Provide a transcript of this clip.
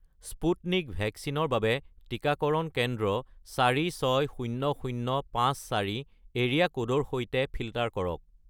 Sputnik ভেকচিনৰ বাবে টিকাকৰণ কেন্দ্ৰ 460054 এৰিয়া ক'ডৰ সৈতে ফিল্টাৰ কৰক